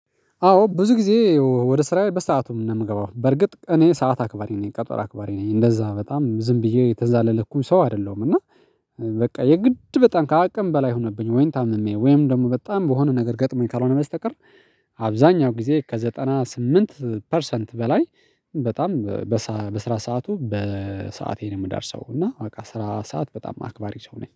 አዎ ብዙ ጊዜ ወደ ስራዬ በሰአቱም ነው የምገባው በርግጥ እኔ ሰዓት አክባሪ ነኝ ቀጠር አክባሪ ነኝ እንደዛ በጣም ዝም ብዬ የተዛለለኩኝ ሰው አይደለሁም። እና በቃ የግድ በጣም ከአቅም በላይ ሆነብኝ ወይንም ታምሜ ወይም ደግሞ በጣም በሆነ ነገር ገጥሞኝ ካልሆነ በስተቀር። አብዛኛው ጊዜ ከዘጠና ስምንት ፐርሰንት በላይ በጣም በስራ ሰዓቱ በሰአቴ ነው የምደርሰው። እና በቃ ስራ ሰዓት በጣም አክባሪ ሰው ነኝ